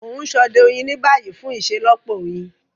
Mo n sode oyin ni bayi fun iṣelọpọ oyin.